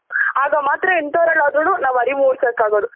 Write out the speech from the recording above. ಆಗ ಮಾತ್ರ ಎಂತವ್ರ್ ಅಲ್ ಆದ್ರೂನು ನಾವ್ ಅರಿವು ಮುಡ್ಸೋಕ್ ಆಗೋದು